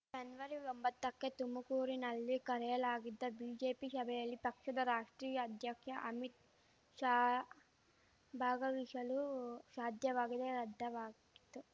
ಜನ್ವರಿಒಂಬತ್ತಕ್ಕೆ ತುಮಕೂರಿನಲ್ಲಿ ಕರೆಯಲಾಗಿದ್ದ ಬಿಜೆಪಿ ಶಭೆಯಲ್ಲಿ ಪಕ್ಷದ ರಾಷ್ಟ್ರೀಯ ಅಧ್ಯಕ್ಷ ಅಮಿತ್‌ ಶಾ ಭಾಗವಹಿಶಲು ಶಾಧ್ಯವಾಗದೆ ರದ್ದವಾಗಿತ್ತು